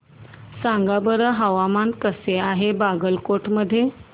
सांगा बरं हवामान कसे आहे बागलकोट मध्ये